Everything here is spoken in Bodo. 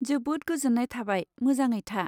जोबोद गोजोन्नाय थाबाय, मोजाङै था।